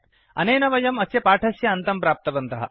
अनेन वयम् अस्य पाठस्य अन्त्यं प्राप्तवन्तः